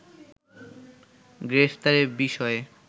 গ্রেফতারের বিষয়ে